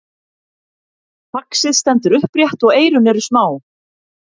faxið stendur upprétt og eyrun eru smá